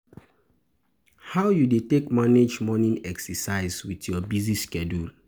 How you dey take manage morning exercise with your busy schedule?